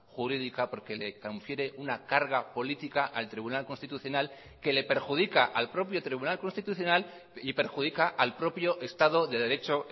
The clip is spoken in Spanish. jurídica porque le confiere una carga política al tribunal constitucional que le perjudica al propio tribunal constitucional y perjudica al propio estado de derecho